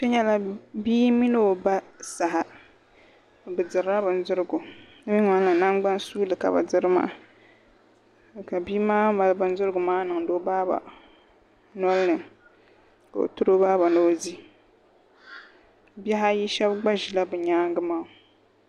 Kpɛ nyɛla bia mini o ba saha bi dirila bindirigu di mii ŋmanila nagbani suuli ka bi diri maa ka bia maa mali bindirigu maa niŋdi o baaba nolini n tiri o baaba ni o di bihi ayi shab gba ʒila bi nyaangi maa